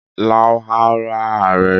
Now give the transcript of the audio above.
Ìåäó òåì íà÷àìè.